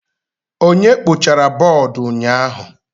Onye kpochara bọọdụ ụnyaahụ?